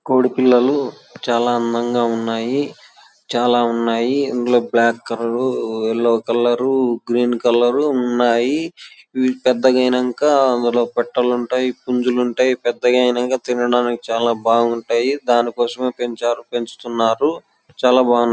కోడి పిల్లలు చాల అందంగా ఉన్నాయ్ .చాల ఉన్నాయ్ .ఇందులో black colour yellow colour green colour ఉన్నాయ్ .ఇవి పెద్ద గైనంక అందులో పెట్టాలుంటాయిపుంజులఉంటాయి. పెద్ద గైనకా తినడానికి బాగుంటుంది. దానికోసం దీని పెంచారు పెంచు తున్నారు. చాల బాగున్నాయ్--